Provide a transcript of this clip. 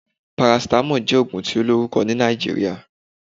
Parasitamoli jẹ́ ògùn tí ó lórùkọ ni Nàìjíríà